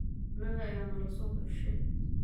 Anaka aya nalasohushe.